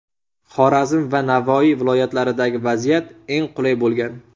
Xorazm va Navoiy viloyatlaridagi vaziyat eng qulay bo‘lgan.